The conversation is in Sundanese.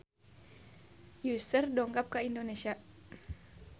Usher dongkap ka Indonesia